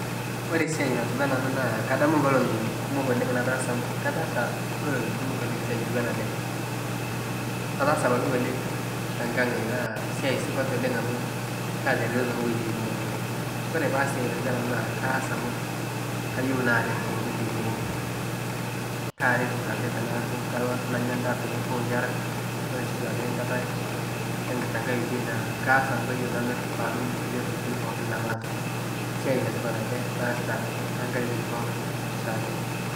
Ore esiai natiu enaa ena naa kadamu inkolong'i kumok oleng' nataasa amu kataasa inkolong'i kumokoleng' siai natiu ena ele. Kataasa ebaiki ng'ole te nkang' ai naa esiai supat oleng' amu kaatareto too nkoitoi kumok oleng'. Kore paas esiai natiu enaa ena kaas amu kayeu naaret too nkoitoi kumok, kaaret dulae tenaaku kalo nanya endaa pee mepukoo inkera, ore sii duake enkata te nkae oitoi naa kaas amu kayeu namir paatum inkulie tokitin pookin namaata, esiai le tipat ele laasita te nkatitin pookin oshi ake.